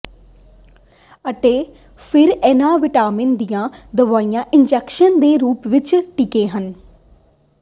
ਅਤੇ ਫਿਰ ਇਨ੍ਹਾਂ ਵਿਟਾਮਿਨਾਂ ਦੀਆਂ ਦਵਾਈਆਂ ਇੰਜੈਕਸ਼ਨ ਦੇ ਰੂਪ ਵਿਚ ਟੀਕੇ ਹਨ